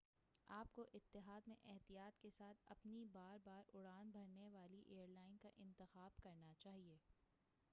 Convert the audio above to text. آپ کو اتحاد میں احتیاط کے ساتھ اپنی بار بار اڑان بھرنے والی ایر لائن کا انتخاب کرنا چاہیے